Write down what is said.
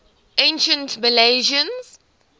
ancient milesians